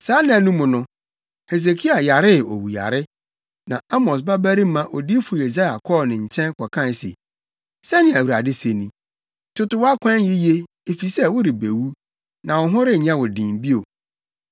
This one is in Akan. Saa nna no mu no, Hesekia yaree owuyare, na Amos babarima Odiyifo Yesaia kɔɔ ne nkyɛn kɔkae se, “Sɛnea Awurade se ni: Toto wʼakwan yiye, efisɛ worebewu; na wo ho renyɛ wo den bio.”